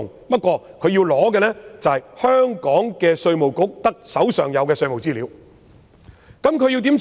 他們如要索取香港稅務局所持有的稅務資料該怎樣做？